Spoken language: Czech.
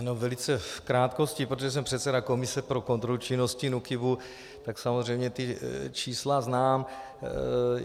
Jenom velice v krátkosti, protože jsem předseda komise pro kontrolu činnosti NÚKIBu, tak samozřejmě ta čísla znám.